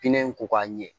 Pinɛ in ko ka ɲɛ